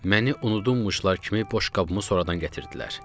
Məni unudulmuşlar kimi boşqabımı sonradan gətirdilər.